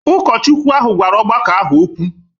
Ụkọchukwu ahụ gwara ọgbakọ ahụ okwu.